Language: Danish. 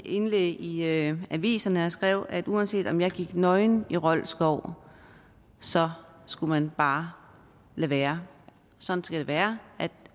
indlæg i aviserne hvor jeg skrev at uanset om jeg gik nøgen i rold skov så skulle man bare lade være sådan skal det være